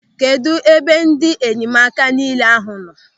Kedụ ebe ndị enyemaka nille ahụ nọ?